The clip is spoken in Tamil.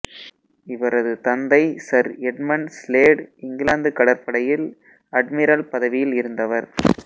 இவரது தந்தை சர் எட்மண்ட் ஸ்லேடு இங்கிலாந்து கடற்படையில் அட்மிரல் பதவியில் இருந்தவர்